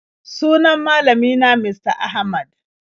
Sunan malami na Mista Ahmad.